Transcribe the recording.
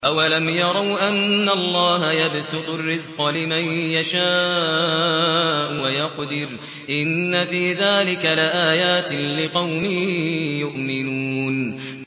أَوَلَمْ يَرَوْا أَنَّ اللَّهَ يَبْسُطُ الرِّزْقَ لِمَن يَشَاءُ وَيَقْدِرُ ۚ إِنَّ فِي ذَٰلِكَ لَآيَاتٍ لِّقَوْمٍ يُؤْمِنُونَ